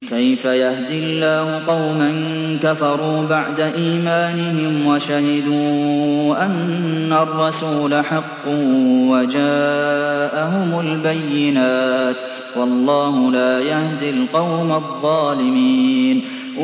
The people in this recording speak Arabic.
كَيْفَ يَهْدِي اللَّهُ قَوْمًا كَفَرُوا بَعْدَ إِيمَانِهِمْ وَشَهِدُوا أَنَّ الرَّسُولَ حَقٌّ وَجَاءَهُمُ الْبَيِّنَاتُ ۚ وَاللَّهُ لَا يَهْدِي الْقَوْمَ الظَّالِمِينَ